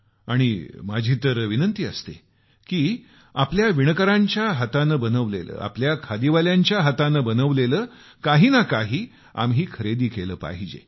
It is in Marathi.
आणि माझा तर आग्रह असतो की आमच्या विणकरांच्या हातानं बनवलेले आमच्या खादीवाल्याच्या हातानं बनवलेलं काही तरी आपण खरेदी केलं पाहिजे